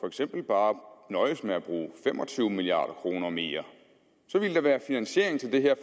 eksempel bare nøjes med at bruge fem og tyve milliard kroner mere så ville der være finansiering til det her